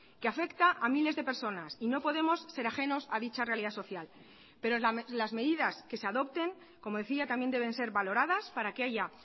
que afecta a miles de personas y no podemos ser ajenos a dicha realidad social pero las medidas que se adopten como decía también deben ser valoradas para que haya